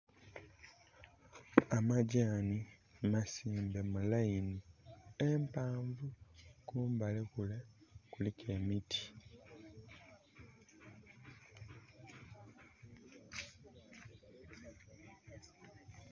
Amagyanhi masimbe mu laini empanvu, kumbali kule kuliku emiti.